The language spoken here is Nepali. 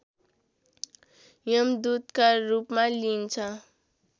यमदूतका रूपमा लिइन्छ